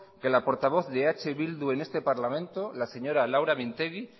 que la portavoz de eh bildu en este parlamento la señora laura mintegi